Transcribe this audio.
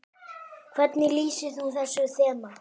Hvernig lýsir þú þessu þema?